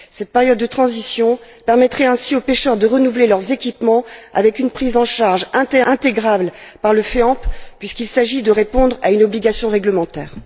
Cette période de transition permettrait ainsi aux pêcheurs de renouveler leurs équipements, avec une prise en charge intégrale par le FEAMP, puisqu'il s'agit de répondre à une obligation réglementaire.